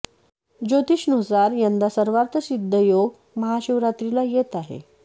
ज्योतिष नुसार यंदा सर्वार्थ सिद्ध योग महाशिवरात्रीला येत आहे